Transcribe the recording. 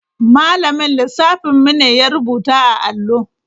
Malamin lissafin mu ne ya rubuta a allo.